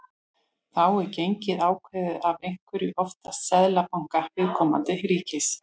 Þá er gengið ákveðið af einhverjum, oftast seðlabanka viðkomandi ríkis.